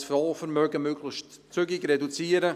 Ich will das Fondsvermögen möglichst zügig reduzieren.